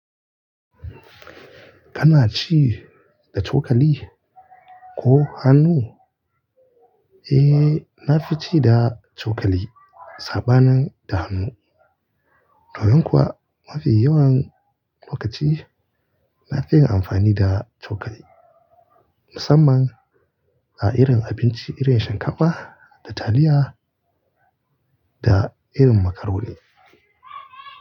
Kana ci da cokali ko hannu? Eh, na fi ci da cokali saɓanin da hannu. Domin kuwa mafi yawan lokaci na fiye amfani da cokali musamman a irin abinci irin shinkafa da taliya da irin macaroni.